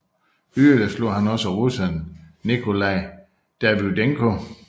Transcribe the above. Yderligere slog han også russeren Nikolaj Davydenko